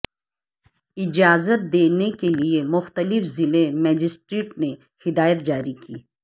اجازت دینے کے لئے مختلف ضلع مجسٹریٹ نے ہدایات جاری کیں